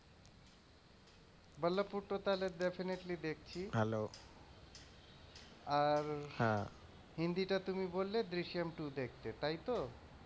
বল্লভপুর টা তাহলে definitely দেখছি আর, হিন্দিটা তুমি বললে দৃশম two দেখতে তাই তো?